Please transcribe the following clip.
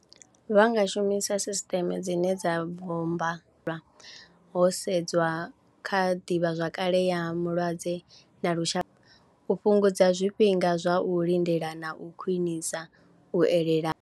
Vha nga shumisa system dzine dza bommba ho sedzwa kha ḓivhazwakale ya mulwadze na lushaka u fhungudza zwifhinga zwa u lindela na u khwinisa u elela.